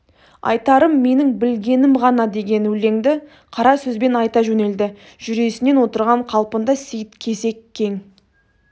айтарым менің білгенім ғана деген өлеңді қара сөзбен айта жөнелді жүресінен отырған қалпында сейіт кесек кең